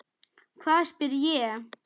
Hvað? spyr ég.